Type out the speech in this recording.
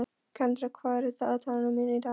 Kendra, hvað er á dagatalinu mínu í dag?